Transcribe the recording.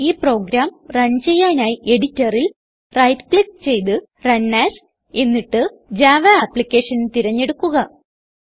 ഈ program run ചെയ്യാനായി editorൽ റൈറ്റ് ക്ലിക്ക് ചെയ്ത് റണ് എഎസ് എന്നിട്ട് ജാവ അപ്ലിക്കേഷൻ തിരഞ്ഞെടുക്കുക